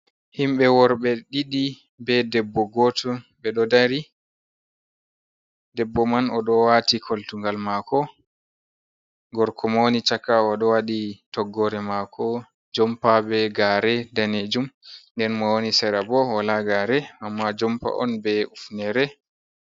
Himbe worbe ɗiɗi be debbo goto ɓe ɗo dari, debbo man o ɗo wati koltungal mako gorko bo woni chaka o ɗo waɗi toggore mako jompa be gare danejum, nden mo woni sera bo wola gare amma jompa on be hufnere.